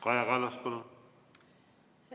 Kaja Kallas, palun!